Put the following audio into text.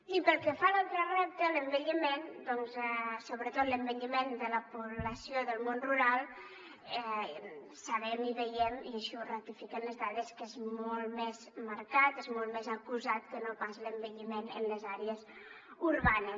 i pel que fa a l’altre repte l’envelliment doncs sobretot l’envelliment de la població del món rural sabem i veiem i així ho ratifiquen les dades que és molt més marcat és molt més acusat que no pas l’envelliment en les àrees urbanes